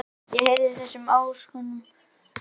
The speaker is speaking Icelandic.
Ég heyrði af þessum ásökunum í gær.